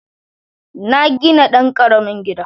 Na gina ɗan ƙaramin gida